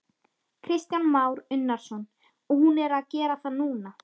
Kristján Már Unnarsson: Og hún er að gera það núna?